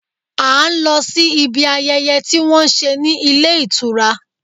À ń lọ sí ibi ayẹyẹ tí wọ́n ń ṣe ní ilé ìtura.